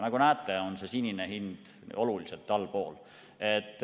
Nagu näete, on see sinine hind oluliselt allpool.